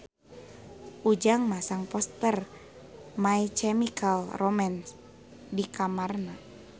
Ujang masang poster My Chemical Romance di kamarna